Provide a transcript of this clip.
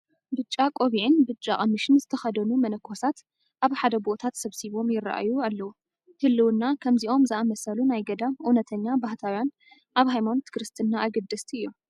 ብጫ ቆብዒን ብጫ ቐሚሽን ዝተኸደኑ መነኮሳት ኣብ ሓደ ቦታ ተሰብሲቦም ይርአዩ ኣለዉ፡፡ ህልውና ከምዚኦም ዝኣምሰሉ ናይ ገዳም እውነተኛ ባህታውያን ኣብ ሃይማኖት ክርስትና ኣገደስቲ እዮም፡፡